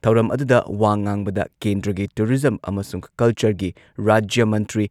ꯊꯧꯔꯝ ꯑꯗꯨꯗ ꯋꯥ ꯉꯥꯡꯕꯗ ꯀꯦꯟꯗ꯭ꯔꯒꯤ ꯇꯨꯔꯤꯖꯝ ꯑꯃꯁꯨꯡ ꯀꯜꯆꯔꯒꯤ ꯔꯥꯖ꯭ꯌ ꯃꯟꯇ꯭ꯔꯤ